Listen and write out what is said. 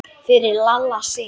Fyrir Lalla Sig.